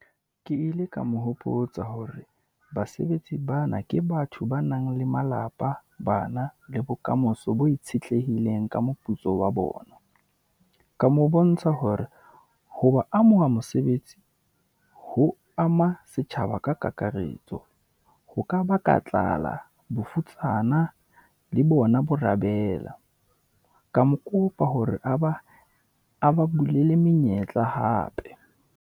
Ke ile ka mo hopotsa hore basebetsi baana ke batho ba nang le malapa, bana, le bokamoso bo itshetlehileng ka moputso wa bona, ka mo bontsha hore ho ba amoha mosebetsi ho ama setjhaba ka kakaretso. Ho ka ba ka tlala, bofutsana, le bona bo arabela, ka mo kopa hore a ba bulele menyetla hape.